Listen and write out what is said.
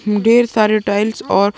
ढेर सारे टाइल्स और --